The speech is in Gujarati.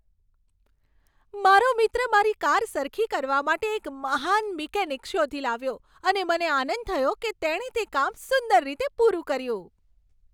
મારો મિત્ર મારી કાર સરખી કરવા માટે એક મહાન મિકેનિક શોધી લાવ્યો અને મને આનંદ થયો કે તેણે તે કામ સુંદર રીતે પૂરું કર્યું.